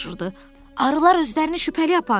Arılar özlərini şübhəli aparır.